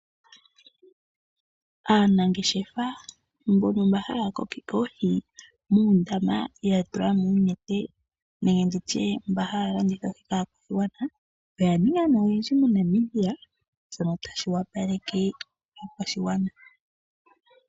Aanangeshefa yontumba mboka haya kokeke oohi muundama yatulamo oonete nenge nditye mba haya landitha kaakwashigwana oya ninga ne oyendji moNamibia shoka tashi wapaleke oshigwana.